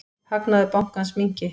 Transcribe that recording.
Hagnaður bankans minnki.